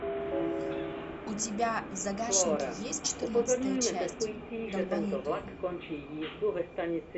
у тебя в загашнике есть четырнадцатая часть долбанутые